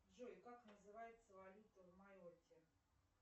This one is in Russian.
джой как называется валюта в майотте